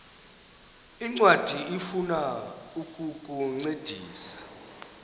ncwadi ifuna ukukuncedisa